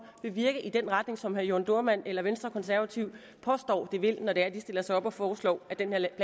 vil virke i den retning som herre jørn dohrmann eller venstre konservative påstår de vil når de stiller sig op og foreslår at den her